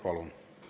Palun!